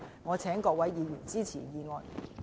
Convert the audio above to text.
謹請各位議員支持議案。